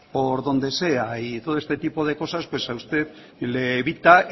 por donde sea y todo este tipo cosas pues a usted le evita